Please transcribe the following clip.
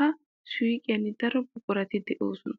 ha suuqiyan daro buqurati de'oosona.